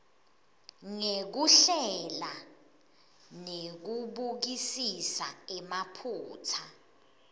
ngekuhlela nekubukisisa emaphutsa